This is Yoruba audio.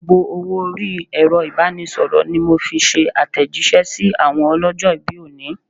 Gbogbo owó orí Ẹ̀rọ ibanisoro ni mo fi ṣe atejise sí àwọn ọlọ́jọ̀-ibi òní.